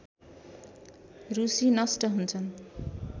रूसी नष्ट हुन्छन्